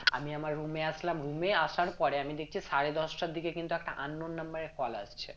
আমি আমার room এ আসলাম room এ আসার পরে আমি দেখছি সারে দশটার দিকে কিন্তু একটা unknown number এ call আসছে